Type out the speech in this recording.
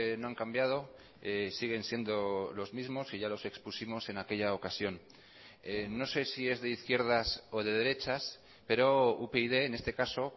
no han cambiado siguen siendo los mismos y ya los expusimos en aquella ocasión no sé si es de izquierdas o de derechas pero upyd en este caso